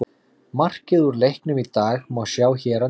Markið úr leiknum í dag má sjá hér að neðan